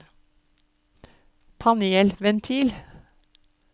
panelventil